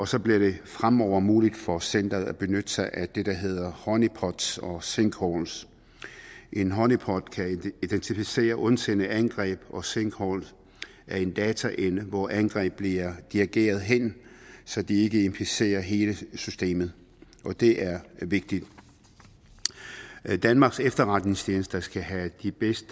så bliver det fremover muligt for centeret at benytte sig af det der hedder honeypots og sinkholes en honeypot kan identificere ondsindede angreb og sinkholes er en dataenhed hvor angreb bliver dirigeret hen så de ikke inficerer hele systemet det er vigtigt danmarks efterretningstjenester skal have de bedst